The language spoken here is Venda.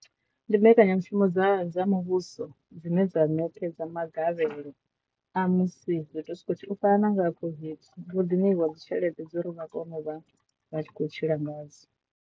Ndi mbekanyamushumo dza dza muvhuso dzine dza netshedza magavhelo a musi zwithu u fana na nga COVID, vho ḓi ṋeiwa dzi tshelede dza uri vha kone u vha vha tshi khou tshila ngadzo.